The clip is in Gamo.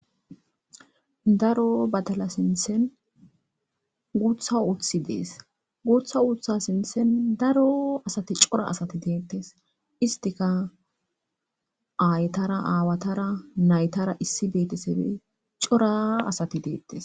Daro batala sinthen guutha uthi dees gutha utha sinthen daro asati cora asati deettes istika aytara aawatara naytara issi beetesefe cora asati deettes.